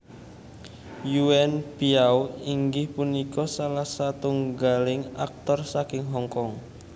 Yuen Biao inggih punika salah satunggaling aktor saking Hong Kong